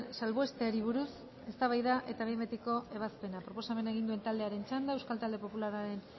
salbuesteari buruz eztabaida eta behin betiko ebazpena proposamena egin duen taldearen txanda euskal talde popularraren